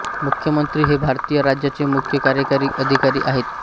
मुख्यमंत्री हे भारतीय राज्याचे मुख्य कार्यकारी अधिकारी आहेत